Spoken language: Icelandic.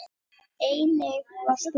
Einnig var spurt